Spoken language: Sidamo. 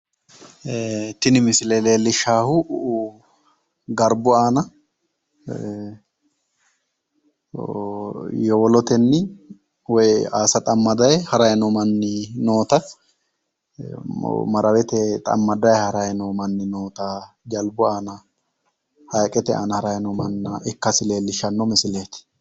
tini misile leellishawohu garbu aana yowolotenni woyi aasa xammadayi harayi noo manni noota maraweteyi xammadayi harayi noo manni noota jalbu aana hayiqete aana harayi no manna ikkasi leellishanno misileeti